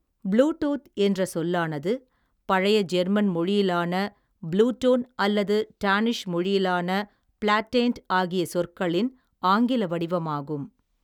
Bluetooth என்ற சொல்லானது பழைய ஜெர்மன் மொழியிலான ப்ளூடோன் அல்லது டானிஷ் மொழியிலான ப்ளாட்டேண்ட் ஆகிய சொற்களின் ஆங்கில வடிவமாகும்.